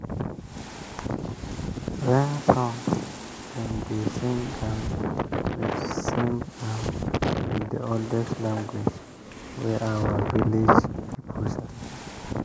rain song dem dey sing am with sing am with the oldest language wey our village people sabi.